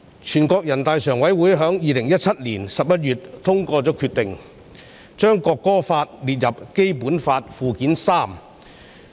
全國人民代表大會常務委員會在2017年11月通過決定，將《中華人民共和國國歌法》列入《基本法》附件三。